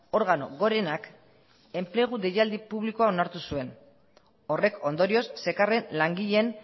organo gorenak enplegu deialdi publikoa onartu zuen horrek ondorioz zekarren langileen